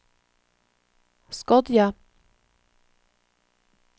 Skodje